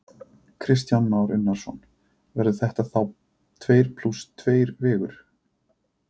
Kristján Már Unnarsson: Verður þetta þá tveir plús tveir vegur?